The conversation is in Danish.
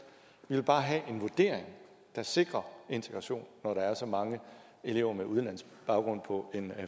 vi vil bare have en vurdering der sikrer integration når der er så mange elever med udenlandsk baggrund på en